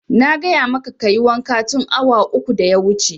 Na gaya maka kayi wanka tun awa uku da ya wuce!